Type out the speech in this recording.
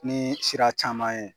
Nii sira caman ye